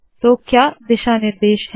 तो क्या दिशा निर्देश है